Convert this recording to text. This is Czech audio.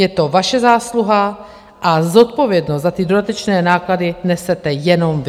Je to vaše zásluha a zodpovědnost za ty dodatečné náklady nesete jenom vy.